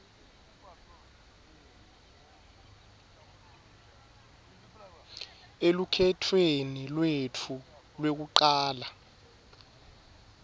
elukhetfweni lwetfu lwekucala